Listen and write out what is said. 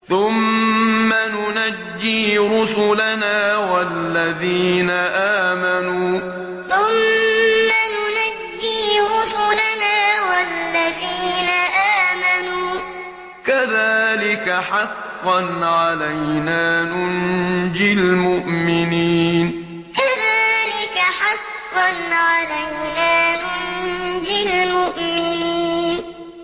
ثُمَّ نُنَجِّي رُسُلَنَا وَالَّذِينَ آمَنُوا ۚ كَذَٰلِكَ حَقًّا عَلَيْنَا نُنجِ الْمُؤْمِنِينَ ثُمَّ نُنَجِّي رُسُلَنَا وَالَّذِينَ آمَنُوا ۚ كَذَٰلِكَ حَقًّا عَلَيْنَا نُنجِ الْمُؤْمِنِينَ